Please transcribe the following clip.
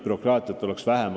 Bürokraatiat peaks vähem olema.